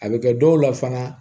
A bɛ kɛ dɔw la fana